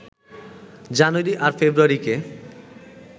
জানুয়ারি আর ফেব্রুয়ারিকে